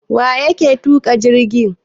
Waƴake tuka jirgi?